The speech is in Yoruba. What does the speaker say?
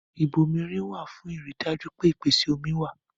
Ìbomirin wà fún ìrì dájú pé ìpèsè omi wa